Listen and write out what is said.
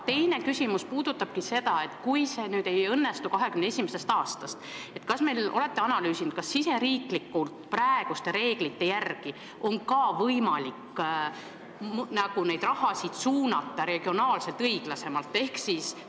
Teine küsimus ongi, et kui see ei õnnestu 2021. aastast, siis riigisiseselt on praeguste reeglite järgi võimalik neid summasid suunata regionaalselt õiglasemalt?